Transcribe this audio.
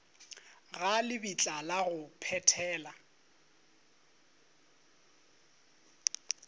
ga lebitla la go phethela